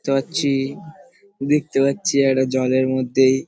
দেখতে পাচ্ছি দেখতে পাচ্ছি একটা জলের মধ্যে --